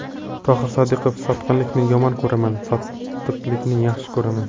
Tohir Sodiqov: Sotqinlikni yomon ko‘raman, sodiqlikni yaxshi ko‘raman.